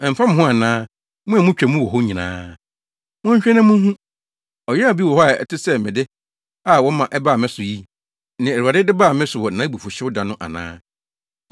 “Ɛmfa mo ho ana, mo a mutwa mu wɔ hɔ nyinaa? Monhwɛ na munhu. Ɔyaw bi wɔ hɔ a ɛte sɛ me de a wɔma ɛbaa me so yi, nea Awurade de baa me so wɔ nʼabufuwhyew da no ana?